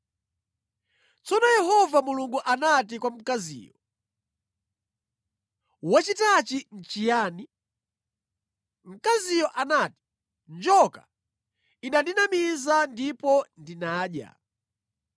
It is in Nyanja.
Tsono Yehova Mulungu anati kwa mkaziyo, “Wachitachi nʼchiyani?” Mkaziyo anati, “Njoka inandinamiza, ndipo ndinadya.”